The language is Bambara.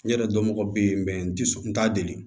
N yɛrɛ dɔnbagaw be yen n ti s n t'a deli